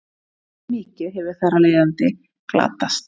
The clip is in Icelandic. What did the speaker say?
mjög mikið hefur þar af leiðandi glatast